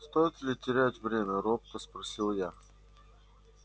стоит ли терять время робко спросил я